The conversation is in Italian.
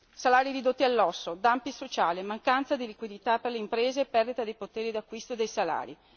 Salari ridotti all'osso, dumping sociale, mancanza di liquidità per le imprese e perdita di potere d'acquisto dei salari.